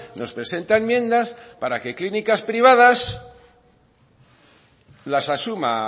nos presenta enmiendas para que clínicas privadas las asuma